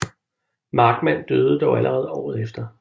Markmann døde dog allerede året efter